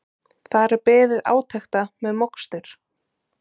Þar er beðið átekta með mokstur